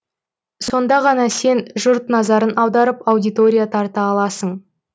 сонда ғана сен жұрт назарын аударып аудитория тарта аласың